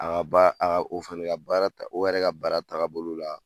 A ka ba o fɛnɛ ka baara o yɛrɛ ka baara tagabolo la